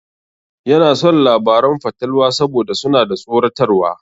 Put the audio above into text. Yana son labaran fatalwa saboda suna da tsoratarwa.